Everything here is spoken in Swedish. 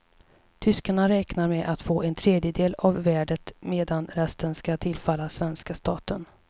Tyskarna räknar med att få en tredjedel av värdet medan resten skall tillfalla svenska staten.